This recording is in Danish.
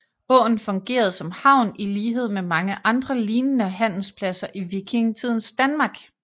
Åen fungerede som havn i lighed med mange andre lignende handelspladser i vikingetidens Danmark